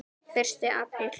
Fyrsti apríl.